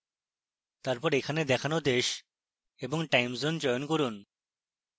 তারপর এখানে দেখানো then এবং timezone চয়ন করুন